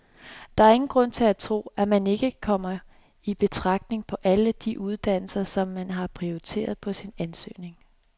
Der er ingen grund til at tro, at man ikke kommer i betragtning på alle de uddannelser, som man har prioriteret på sin ansøgning.